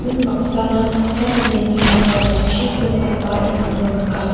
unbaksana saksa mandeni bakra jatchiko katbaengako nika.